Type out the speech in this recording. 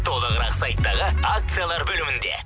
толығырақ сайттағы акциялар бөлімінде